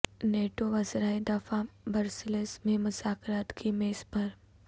NATO وزرائے دفاع Brussels میں مذاکرات کی میز پر